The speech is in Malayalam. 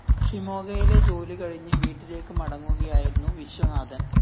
ഷിമോഗയിലെ ജോലി കഴിഞ്ഞ് വീട്ടിലേക്ക് മടങ്ങുകയായിരുന്നു വിശ്വനാഥന്‍